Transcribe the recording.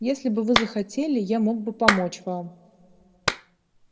если бы вы захотели я мог бы помочь вам